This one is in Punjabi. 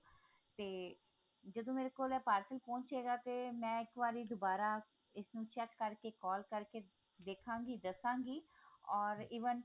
ਤੇ ਜਦੋਂ ਮੇਰੇ ਕੋਲ parcel ਪਹੁੰਚੇ ਗਾ ਤੇ ਮੈਂ ਇੱਕ ਵਾਰੀ ਦੁਬਾਰਾ ਇਸਨੂੰ check ਕਰਕੇ call ਕਰਕੇ ਵੇਖਾਂਗੀ ਦੱਸਾਂਗੀ ਓਰ even